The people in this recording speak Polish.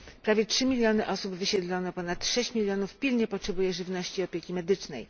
Prawie 3 miliony osób wysiedlono, ponad 6 milionów pilnie potrzebuje żywności i opieki medycznej.